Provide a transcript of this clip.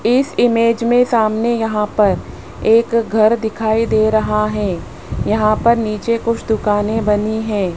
इस इमेज में सामने यहां पर एक घर दिखाई दे रहा है यहां पर नीचे कुछ दुकानें बनी है।